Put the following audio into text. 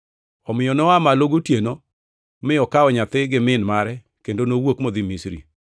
Omiyo noa malo gotieno mi okawo nyathi gi min mare kendo nowuok modhi Misri,